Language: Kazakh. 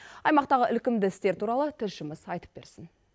аймақтағы ілкімді істер туралы тілшіміз айтып берсін